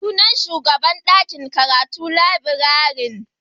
Sunan shugan dakin karatu Librarian.